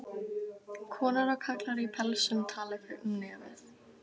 Konur og karlar í pelsum tala gegnum nefið.